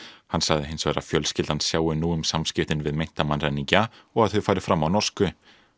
hann sagði hins vegar að fjölskyldan sjái nú um samskiptin við meinta mannræningja og að þau fari fram á norsku